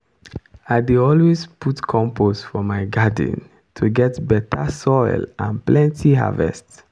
i dey always put compost for my garden to get better soil and plenty harvest.